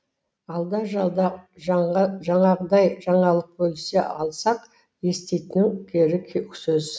алда жалда жаңағыдай жаңалық бөлісе алсақ еститін кері сөз